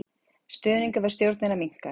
Stuðningur við stjórnina minnkar